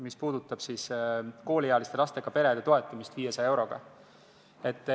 See puudutab kooliealiste lastega perede toetamist 500 euroga.